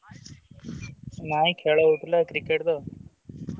ନାଇଁ ଖେଳ ହଉଥିଲା Cricket ତ।